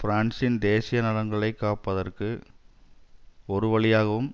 பிரான்சின் தேசிய நலன்களை காப்பதற்கு ஒரு வழியாகவும்